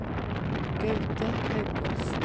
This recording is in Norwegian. Gaute Haukås